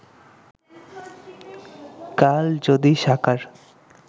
কাল যদি সাকার